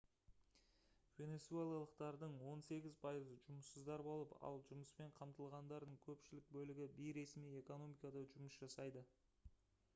венесуэлалықтардың он сегіз пайызы жұмыссыздар болып ал жұмыспен қамтылғандардың көпшілік бөлігі бейресми экономикада жұмыс жасайды